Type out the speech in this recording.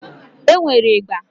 E nwere ịgba.